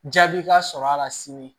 Jaabi ka sɔrɔ a la sini